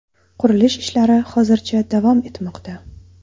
Qurilish ishlari hozircha davom etmoqda.